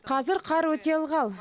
қазір қар өте ылғал